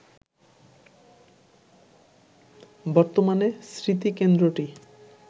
বর্তমানে স্মৃতিকেন্দ্রটি